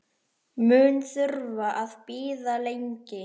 Mun þurfa að bíða lengi.